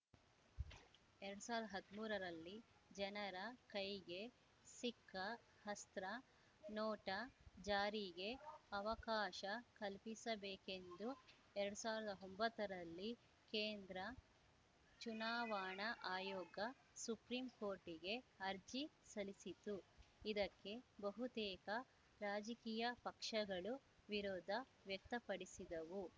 ಎರಡ್ ಸಾವಿರ್ದ್ ಹದ್ಮೂರರಲ್ಲಿ ಜನರ ಕೈಗೆ ಸಿಕ್ಕ ಅಸ್ತ್ರ ನೋಟಾ ಜಾರಿಗೆ ಅವಕಾಶ ಕಲ್ಪಿಸಬೇಕೆಂದು ಎರಡ್ ಸಾವಿರ್ದ್ ಒಂಬತ್ತರಲ್ಲಿ ಕೇಂದ್ರ ಚುನಾವಣಾ ಆಯೋಗ ಸುಪ್ರೀಂಕೋರ್ಟಿಗೆ ಅರ್ಜಿ ಸಲ್ಲಿಸಿತ್ತು ಇದಕ್ಕೆ ಬಹುತೇಕ ರಾಜಕೀಯ ಪಕ್ಷಗಳು ವಿರೋಧ ವ್ಯಕ್ತಪಡಿಸಿದವು